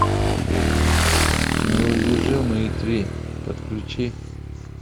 неудержимые три подключи